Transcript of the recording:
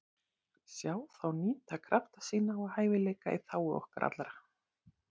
Sjá þá nýta krafta sína og hæfileika í þágu okkar allra.